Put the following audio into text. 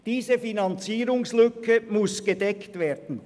Diese Finanzierungslücke muss gedeckt werden.